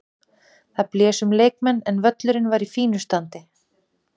Það blés um leikmenn en völlurinn var í fínu standi.